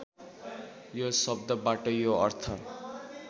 यो शब्दबाट यो अर्थ